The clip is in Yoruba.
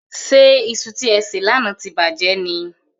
Ṣé iṣu tí e sè lánàá ti bàjẹ́ ni?